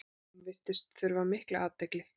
Hún virðist þurfa mikla athygli.